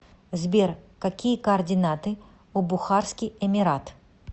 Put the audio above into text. сбер какие координаты у бухарский эмират